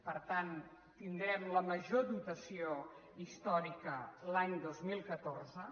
per tant tindrem la major dotació històrica l’any dos mil catorze